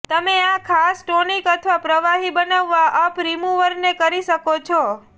તમે આ ખાસ ટોનિક અથવા પ્રવાહી બનાવવા અપ રીમુવરને કરી શકો છો